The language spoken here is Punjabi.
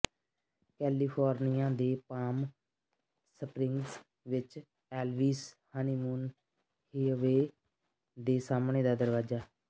ਕੈਲੀਫੋਰਨੀਆ ਦੇ ਪਾਮ ਸਪ੍ਰਿੰਗਜ਼ ਵਿਚ ਐਲਵੀਸ ਹਨੀਮੂਨ ਹਿਅਵੇਅ ਦੇ ਸਾਹਮਣੇ ਦਾ ਦਰਵਾਜ਼ਾ